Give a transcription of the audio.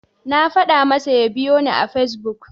Na faɗa masa ya biyoni a Fesbuk.